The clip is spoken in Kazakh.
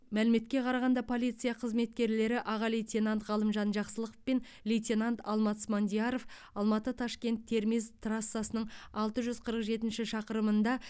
мәліметке қарағанда полиция қызметкерлері аға лейтенант ғалымжан жақсылықов пен лейтенант алмат смандияров алматы ташкент термез трассасының алты жүз қырық жетінші шақырымында